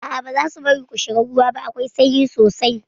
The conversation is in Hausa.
A'a bazasu bari ku shiga ruwa ba, akwai sanyi sosai